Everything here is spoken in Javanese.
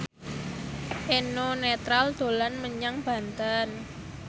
Eno Netral dolan menyang Banten